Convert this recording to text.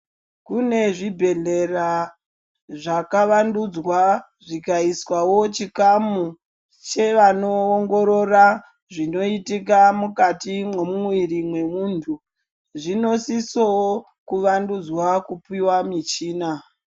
Kune zvibhedhlera zvakawandudzwa zvikaiswawo chikamu chevanoongorora zvinoitika mukati memuviri wemuntu. Zvinosisawo kuvandudzwa kupiwa michina.